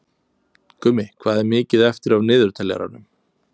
Gummi, hvað er mikið eftir af niðurteljaranum?